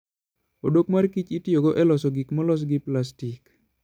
Odok mar Kich itiyogo e loso gik molos gi plastik.